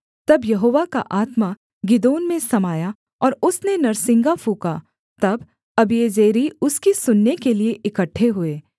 तब यहोवा का आत्मा गिदोन में समाया और उसने नरसिंगा फूँका तब अबीएजेरी उसकी सुनने के लिये इकट्ठे हुए